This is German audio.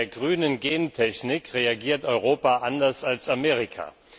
Bei der grünen Gentechnik reagiert Europa anders als Amerika.